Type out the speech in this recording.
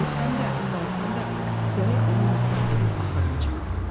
Ölsəm də, qalsam da, gərək onu müflis edib axırına çıxam.